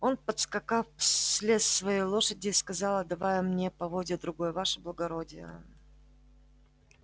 он подскакав слез с своей лошади и сказал отдавая мне поводья другой ваше благородие